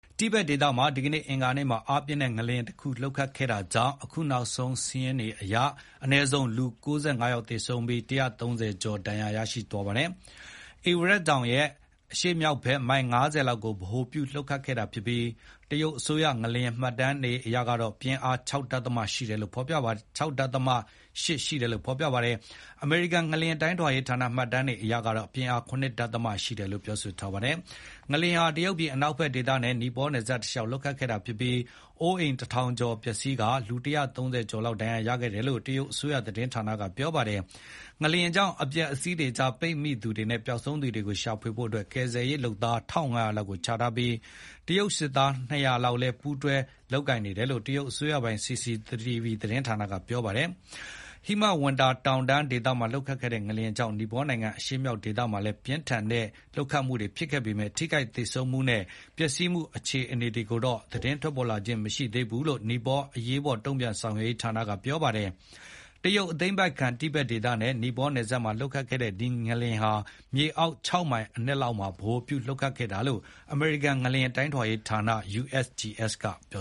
တိဘက်ဒေသမှာ ဒီကနေ့ အင်္ဂါနေ့မှာ အားပြင်းငလျင်တခုလှုပ်ခတ်ခဲ့တာကြောင့် အခုနောက်ဆုံး စာရင်းတွေအရ အနည်းဆုံး လူ ၉၅ ယောက်သေ ဆုံးခဲ့ပြီး ၁၃၀ ကျော်ဒဏ်ရာရရှိသွားပါတယ်။ ဧဝရက်တောင်ရဲ့ ရှေ့မြောက်ဘက်မိုင် ၅၀ လောက်ကိုဗဟိုပြုလှုပ်ခတ်ခဲ့တာဖြစ်ပြီး တရုတ်အစိုးရ ငလျင်မှတ်တမ်းတွေကတော့ ပြင်းအား ၆.၈ ရှိတယ်လို့ဖေါ်ပြပါတယ်။ အမေရိကန်ငလျင်တိုင်းထွာရေး ဌာနမှတ်တမ်းအရကတော့ ပြင်းအား ရ.၁ ရှိတယ်လို့ဖေါ်ပြထားပါတယ်။ ငလျင်ဟာ တရုတ်ပြည်အနောက်ဘက်ဒေသနဲ့ နီပေါနယ်စပ်တလျောက်လှုပ်ခတ်ခဲ့တာဖြစ်ပြီး အိုးအိမ် တထောင်ကျော်လောက်ပျက်စီးသွားပါတယ်။ လူ ပေါင်း ၁၃၀ ကျော်လောက်ဒဏ်ရာရခဲ့တယ်လို့ တရုတ်အစိုးရသတင်းဌာနကဖေါ်ပြပါတယ်။ ငလျင်ကြောင့် အပျက်အစီးတွေကြားပိတ်မိနေသူတွေနဲ့ ပျောက်ဆုံးနေသူတွေကိုရှာဖွေဖို့ ကယ်ဆယ်ရေးလုပ်သား ၁,၅၀၀ လောက်ကို ချထားခဲ့ပြီး တရုတ် စစ်သား ၂၀၀ လောက်လည်း ပူးတွဲပါဝင်တယ်လို့ တရုတ်အစိုးရပိုင် CCTV သတင်းဌာနက ဖေါ်ပြပါတယ်။ ဒီဟိမဝန္တာတောင်တန်းဒေသမှာလှုပ်ခတ်ခဲ့တဲ့ငလျင်ကြောင့် နီပေါနိုင်ငံအရှေ့မြောက်ဒေသမှာလည်း ပြင်းထန်တဲ့ လှုပ်ခတ်မှုတွေဖြစ်ခဲ့ပေမယ့် ထိခိုက်သေဆုံးမှုနဲ့ ပျက်စီးမှုအခြေအနေတွေတော့ သတင်းထွက်ပေါ်လာခြင်းမရှိသေးဘူးလို့ နီပေါ အရေးပေါ်တုံ့ပြန်ဆောင်ရွက်ရေးဌာနကပြောပါတယ်။ တရုတ်သိမ်းပိုက်ခံ တိဘက်ဒေသနဲ့ နီပေါနယ်စပ်မှာလှုပ်ခတ်ခဲ့တဲ့ဒီလျင်ဟာ မြေအောက် ၆ မိုင် အနက်မှာ ဗဟိုပြုလုပ်ခတ်ခဲ့တာလို့ အမေရိကန်ငလျင်တိုင်းထွာရေးဌာန USGS ကဖေါ်ပြ